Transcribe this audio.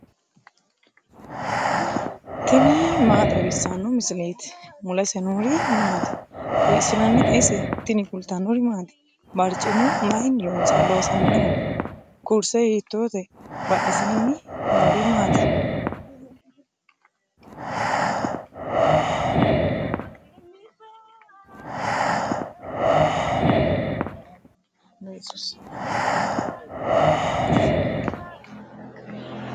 tini maa xawissanno misileeti ? mulese noori maati ? hiissinannite ise ? tini kultannori maati? bariccimu mayiinni loosamminno? Kurise hiittote? Badheennsaanni noori maatti?